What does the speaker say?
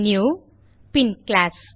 new pin class